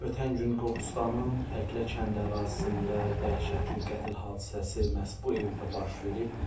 Ötən gün Qobustanın Təklə kəndi ərazisində dəhşətli qətl hadisəsi məhz bu evdə baş verib.